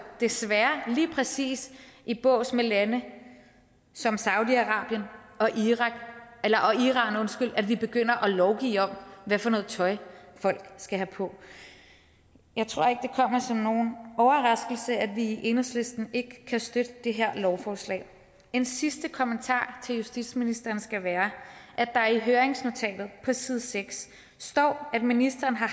desværre lige præcis i bås med lande som saudi arabien og iran at vi begynder at lovgive om hvad for noget tøj folk skal have på jeg tror ikke kommer som nogen overraskelse at vi i enhedslisten ikke kan støtte det her lovforslag en sidste kommentar til justitsministeren skal være at der i høringsnotatet på side seks står at ministeren har